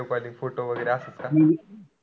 Video calling photo वगैरे असत का?